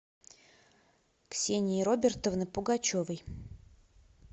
ксении робертовны пугачевой